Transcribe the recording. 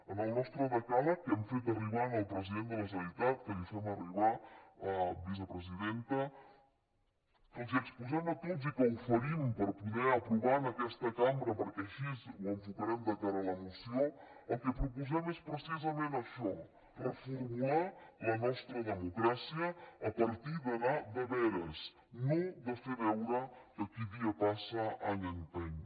en el nostre decàleg que hem fet arribar al president de la generalitat que li fem arribar vicepresidenta els exposem a tots i que oferim per poder aprovar en aquesta cambra perquè així ho enfocarem de cara a la moció el que proposem és precisament això reformular la nostra democràcia a partir d’anar de veres no de fer veure que qui dia passa any empeny